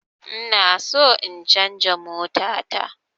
Inaso in canza mota ta